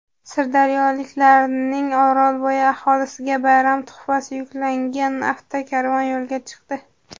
Sirdaryoliklarning Orolbo‘yi aholisiga bayram tuhfasi yuklangan avtokarvon yo‘lga chiqdi.